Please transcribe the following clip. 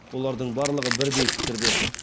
олардың барлығы бірдей пікірде